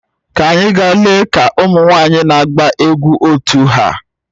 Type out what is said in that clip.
Ka anyị gaa lee ka ụmụ nwanyị na-agba egwu otu ha